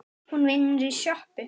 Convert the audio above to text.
Hún vinnur í sjoppu